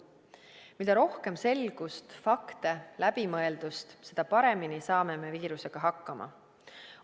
Mida rohkem selgust, fakte, läbimõeldust, seda paremini saame viirusega hakkama.